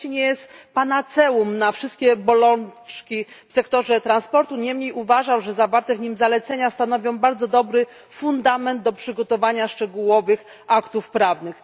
Oczywiście nie jest ono panaceum na wszystkie bolączki w sektorze transportu, niemniej jednak uważam, że zawarte w nim zalecenia stanowią bardzo dobry fundament do przygotowania szczegółowych aktów prawnych.